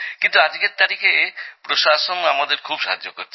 কিন্তু আজকের তারিখে প্রশাসন আমাদের খুব সাহায্য করে